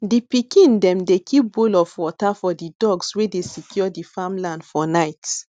di pikin dem dey keep bowl of water for di dogs wey dey secure di farmland for night